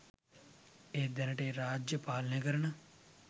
ඒත් දැනට ඒ රාජ්‍යය පාලනය කරන